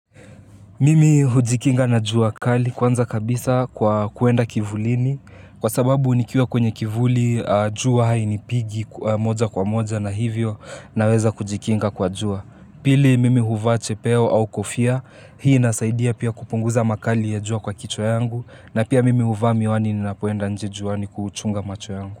Mimi hujikinga na jua kali kwanza kabisa kwa kuenda kivulini, Kwa sababu nikiwa kwenye kivuli aaaa jua hainipigi kwa moja kwa moja na hivyo naweza kujikinga kwa jua. Pili mimi huvaa chepeo au kofia, hii inasaidia pia kupunguza makali ya jua kwa kichwa yangu na pia mimi huvaa miwani ninapoenda nje juuani kuuchunga macho yangu.